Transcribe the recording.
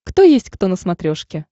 кто есть кто на смотрешке